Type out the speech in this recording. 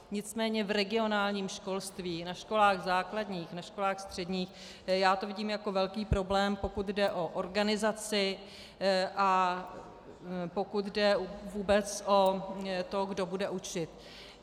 Nicméně v regionálním školství, na školách základních, na školách středních já to vidím jako velký problém, pokud jde o organizaci a pokud jde vůbec o to, kdo bude učit.